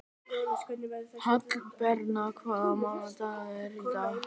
Hallbera, hvaða mánaðardagur er í dag?